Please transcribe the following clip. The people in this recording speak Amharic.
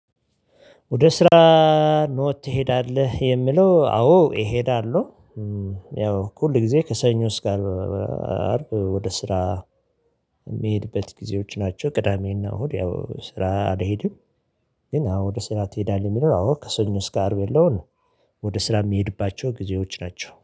ወደ ስራ ትሄዳለህ? የሚለው አዎ እሄዳለሁ። ያው ሁል ጊዜ ከሰኞ እስከ አርብ ወደ ስራ የሚሄድበት ጊዜዎች ናቸው። ቅዳሜና እሁድ ያው ስራ አልሄድም። ግን አዎ ወደ ስራ ትሄዳለህ? የሚለው አዎ ከሰኞ እስከ አርብ ያለውን ወደ ስራ የሚሄድባቸው ጊዜዎች ናቸው